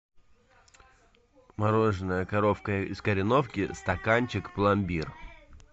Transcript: мороженое коровка из кореновки стаканчик пломбир